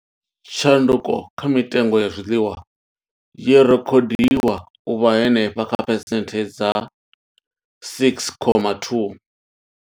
Tshanduko kha mitengo ya zwiḽiwa yo rekhodiwa u vha henefha kha phesenthe dza 6.2.